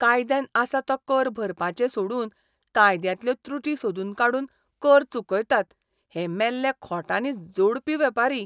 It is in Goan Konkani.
कायद्यान आसा तो कर भरपाचें सोडून कायद्यांतल्यो त्रुटी सोदून काडून कर चुकयतात हे मेल्ले खोटांनी जोडपी वेपारी!